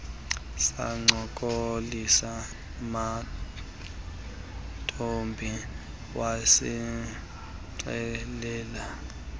sancokolisa mantombi wasixelela